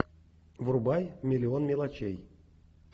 врубай миллион мелочей